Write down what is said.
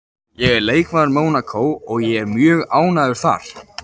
Ég er leikmaður Mónakó og ég er mjög ánægður þar